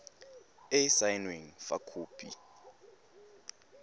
e e saenweng fa khopi